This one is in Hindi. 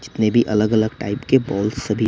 जितने भी अलग अलग टाइप के बॉल सभी--